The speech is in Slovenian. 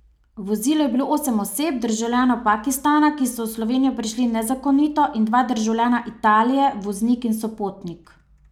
V vozilu je bilo osem oseb, državljanov Pakistana, ki so v Slovenijo prišli nezakonito, in dva državljana Italije, voznik in sopotnik.